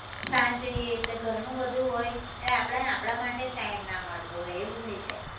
સાંજે જઈએ એટલે ઘરનું બધું હોય એટલે આપડાને આપડા માટે જ time ના મળતો હોય એવું થઇ જાય